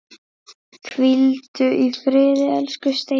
Hvíldu í friði, elsku Steini.